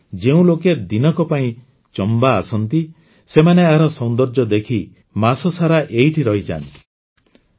ଅର୍ଥାତ ଯେଉଁ ଲୋକେ ଦିନକ ପାଇଁ ଚମ୍ବା ଆସନ୍ତି ସେମାନେ ଏହାର ସୌନ୍ଦର୍ଯ୍ୟ ଦେଖି ମାସସାରା ଏଇଠି ରହିଯାଆନ୍ତି